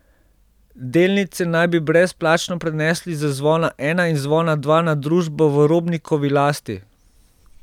Delnice naj bi brezplačno prenesli z Zvona Ena in Zvona Dva na družbo v Robnikovi lasti.